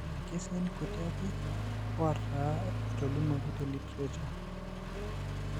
Irkesii kuti ake ootaa etolimuoki teliterature.